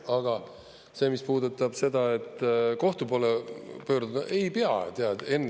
Aga see, mis puudutab seda, et kohtu poole pöörduda, ei pea, tead, Henn.